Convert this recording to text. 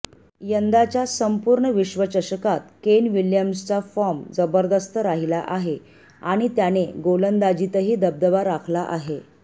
यंदाच्या संपूर्ण विश्वचषकात केन विल्यम्सनचा फॉर्म जबरदस्त राहिला आहे आणि त्याने गोलंदाजीतही दबदबा राखला आहे